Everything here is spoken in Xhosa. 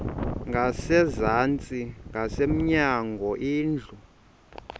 ngasezantsi ngasemnyango indlu